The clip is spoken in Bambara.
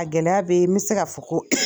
A gɛlɛya be yen n bɛ se ka fɔ ko